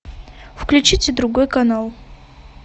включите другой канал